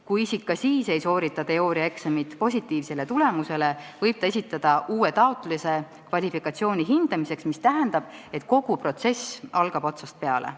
Kui isik ka siis ei soorita teooriaeksamit positiivse tulemusega, võib ta esitada uue taotluse kvalifikatsiooni hindamiseks, mis tähendab, et kogu protsess algab otsast peale.